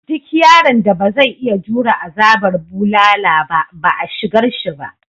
Duk yaron da ba zai iya jure azabar bulala ba ba a shigarshi ba.